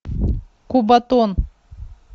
кубатон